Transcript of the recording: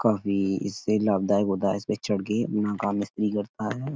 काफी इससे लाभदायक होता है। इसपे चढ़ के अपना काम मिस्त्री करता है।